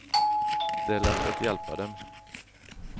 Det är lätt att hjälpa dem.